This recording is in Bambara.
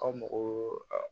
Aw mago